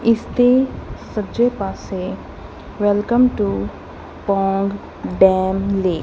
ਇਸ ਦੇ ਸੱਜੇ ਪਾਸੇ ਵੈਲਕਮ ਟੂ ਪੋਂਗ ਡੈਮ ਲੇ --